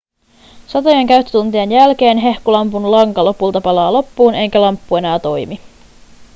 satojen käyttötuntien jälkeen hehkulampun lanka lopulta palaa loppuun eikä lamppu enää toimi